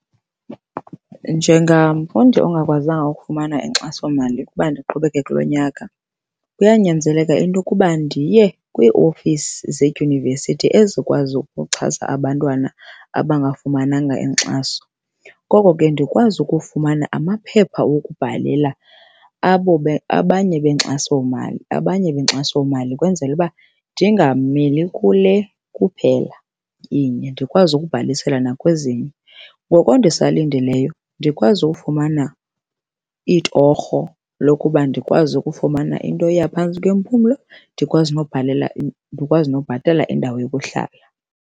Njengamfundi ongakwazanga ukufumana inkxasomali ukuba ndiqhubekeke kulo nyaka, kuyanyanzeleka into yokuba ndiye kwiiofisi zedyunivesiti ezikwazi ukuxhasa abantwana abangafumananga inkxaso. Koko ke ndikwazi ukufumana amaphepha okubhalela abo abanye benkxasomali abanye benkxasomali kwenzela ukuba ndingameli kule kuphela inye ndikwazi ukubhalisela nakwezinye. Ngoko ndisalindileyo ndikwazi ufumana iitorho lokuba ndikwazi ukufumana into eya phantsi kwempumlo, ndikwazi nobhalela ndikwazi nokubhatala indawo yokuhlala.